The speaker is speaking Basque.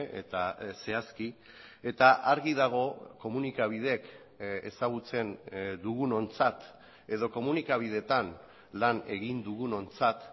eta zehazki eta argi dago komunikabideek ezagutzen dugunontzat edo komunikabideetan lan egin dugunontzat